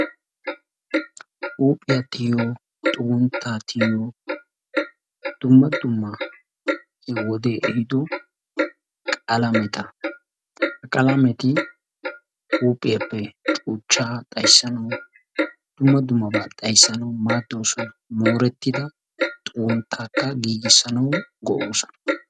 Huuphphiyaa tiyyiyo, xugguntta tiyyiyo dumma dumma wode ehiido qalametta. Ha qalameti huuphphiyaappe cuuchcha xayssanawu maaddoosona dumma dummaba xayssanawu maaddoosona. Moorettida xuggunttakka giigissanawu go''oosona.